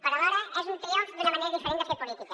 però alhora és un triomf d’una manera diferent de fer política